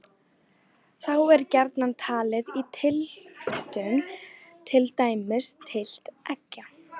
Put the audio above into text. Þá er gjarnan talið í tylftum, til dæmis tylft eggja.